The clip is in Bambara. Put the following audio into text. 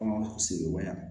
Kɔngɔ sigibaga